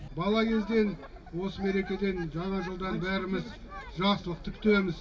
бала кезден осы мерекеден жаңа жылда бәріміз жақсылықты күтеміз